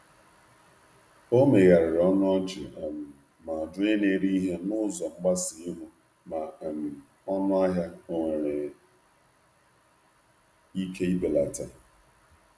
O megharịrị ọnụ ọchị um ma jụọ onye na-ere ihe n’ụzọ mgbasa ihu ma um ọnụahịa onwere ike ibelata.